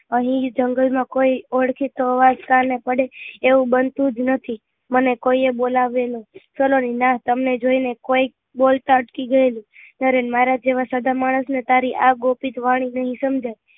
અહી જંગલ માં કોઈ ઓળખે તો અવાજ કાને પડે એવું બનતું જ નથી મને કોઈએ બોલાવ્યો જ નહિ સુનેરી નાં તમને જોઈ ને કોઈક બોલતા અટકી ગયું નરેન મારા જેવા સધર માણસ ને તારી આ ગોપિત વાણી નહિ સમજાય